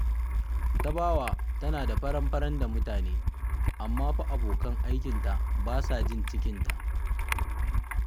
Tabawa tana da faran-faran da mutane, amma fa abokan aikinta ba sa jin cikinta